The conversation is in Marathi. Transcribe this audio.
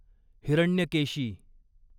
हिरण्यकेशी